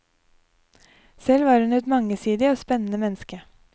Selv var hun et mangesidig og spennende menneske.